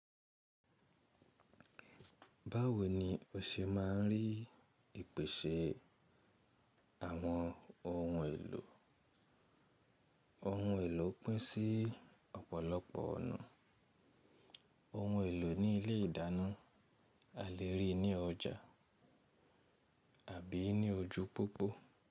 Báwo ni o ṣe máa ń rí ìpèsè àwọn ohun èlò? Ohun èlò pín sí ọ̀pọ̀lọpọ̀ ọ̀nà. Ohun èlò ní ilé ìdáná a lè rí ní ọjà àbí ní ojú pópó.